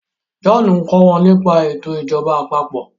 John nkọ wón nípa eto ìjọba àpapọ̀